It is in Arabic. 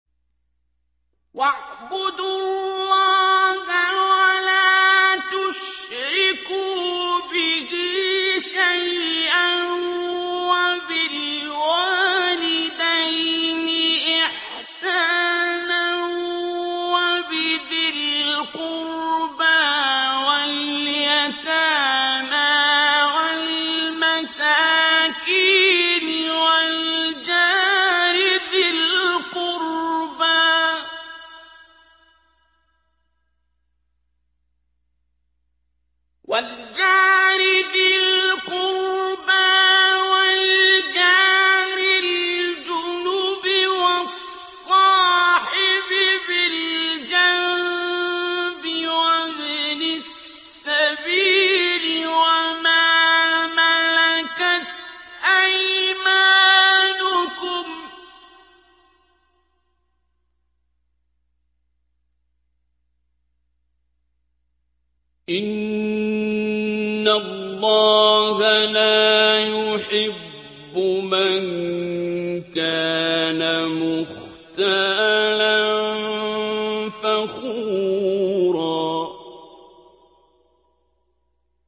۞ وَاعْبُدُوا اللَّهَ وَلَا تُشْرِكُوا بِهِ شَيْئًا ۖ وَبِالْوَالِدَيْنِ إِحْسَانًا وَبِذِي الْقُرْبَىٰ وَالْيَتَامَىٰ وَالْمَسَاكِينِ وَالْجَارِ ذِي الْقُرْبَىٰ وَالْجَارِ الْجُنُبِ وَالصَّاحِبِ بِالْجَنبِ وَابْنِ السَّبِيلِ وَمَا مَلَكَتْ أَيْمَانُكُمْ ۗ إِنَّ اللَّهَ لَا يُحِبُّ مَن كَانَ مُخْتَالًا فَخُورًا